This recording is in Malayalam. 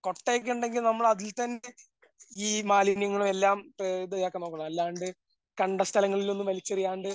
കൊട്ട ഒക്കെ ഉണ്ടെങ്കിൽ നമ്മൾ അതിൽ തന്നെ ഈ മാലിന്യങ്ങളും എല്ലാം ആ ഇതാക്കാൻ നോക്കണം. അല്ലാണ്ട് കണ്ട സ്ഥങ്ങളിലൊന്നും വലിച്ചെറിയാണ്ട്